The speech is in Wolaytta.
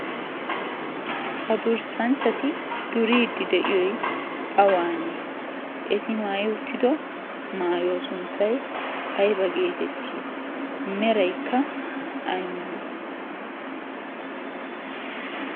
ha durssanchchati duriidi de'iyoi awaanee eti maayi uttido maayuwaa sunttai aiba geetettii meraikka ay malee?